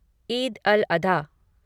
ईद अल आधा